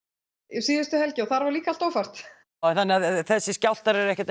síðustu helgi og þar var líka allt ófært þannig að þessir skjálftar eru ekkert